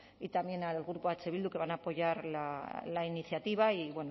y también al grupo eh bildu que van a apoyar la iniciativa y